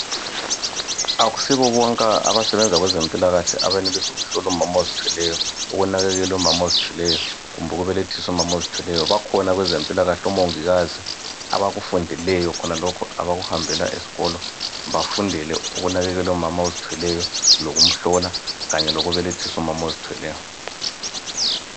Akusibo bonke abasebenza kwezempilakahle abenelisa ukuhlola umama ozithweleyo ukunakekela umama ozithweleyo kumbe ukubelethisa umama ozithweleyo bakhona kwezempilakahle omongikazi abakufundeleyo khonalokhu abakuhambele esikolo bafundele ukunakekela umama ozithweleyo lokumhlola Kanye loku belethisa umama ozithweleyo